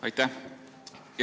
Aitäh!